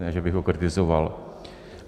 Ne že bych ho kritizoval.